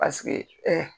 Paseke